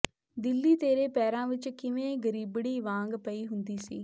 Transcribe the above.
ਦਿੱਲੀ ਤੇਰੇ ਪੈਰਾਂ ਵਿੱਚ ਕਿਵੇਂ ਗਰੀਬੜੀ ਵਾਂਗ ਪਈ ਹੁੰਦੀ ਸੀ